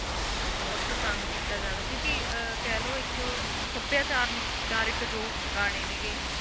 ਬਿਲਕੁਲ ਬਹੁਤ ਪਸੰਦ ਕੀਤਾ ਜਾਂਦਾ ਕਿਉਂਕਿ ਅਹ ਕਹਿ ਲਓ ਇੱਕ ਸਭਿਆਚਾਰ ਚਾਰਕ ਜੋ ਗਾਣੇ ਨੇ ਗੇ,